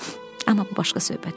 Amma bu başqa söhbətdir.